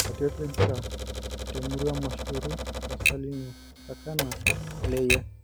Iratiot lempira temurua mMashuuru; kasaiine, Sakana, Kileyia.